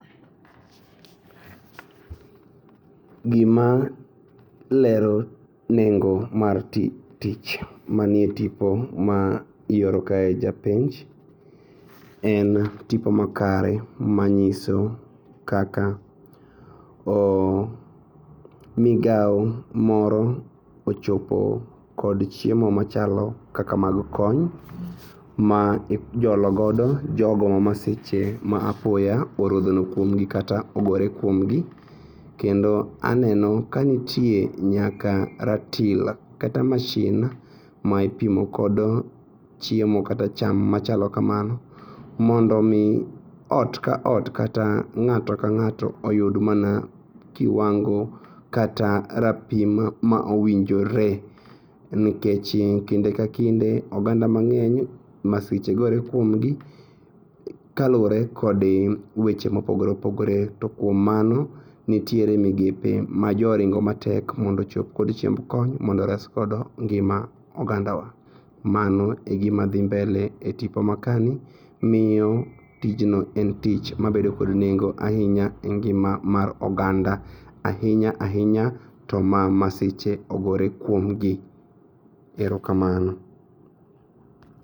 Gima lero nengo mar tich manie tipo ma ioro kae japenj en tipo makare manyiso kaka oo migao moro ochopo kod chiemo machalo kaka mag kony ma ijolo godo jogo ma masiche ma apoyo orodhono kuomgi kata ogore kuomgi. Kendo aneno kanitie nyaka ratil kata mashin ma ipimo kodo chiemo kata cham machalo kamano mondo omii ot ka ot kata ng'ato ka ng'ato oyud mana kiwango kata rapim ma owinjore. Nikech kinde ka kinde oganda mang'eny masiche gore kuomgi kaluore kod weche mopogore opogre to kuom mano nitiere migepe ma joringo matek mondo ochop kod chiemb kony mondo oresgodo ngima ogandawa mano e gima dhi mbele e tipo makani miyo tijno en tich mabedo kod nengo ainya e ngima mar oganda. Ainya ainya to ma masiche ogore kuomgi. Erokamano.